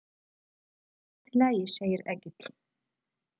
Allt í lagi, segir Egill.